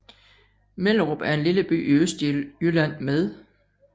Mellerup er en lille by i Østjylland med